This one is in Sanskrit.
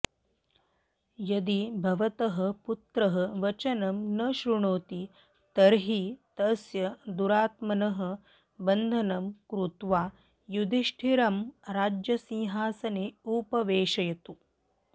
यदि भवतः पुत्रः वचनं न शृणोति तर्हि तस्य दुरात्मनः बन्धनं कृत्वा युधिष्ठिरं राज्यसिंहासने उपवेशयतु